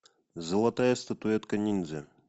золотая статуэтка ниндзя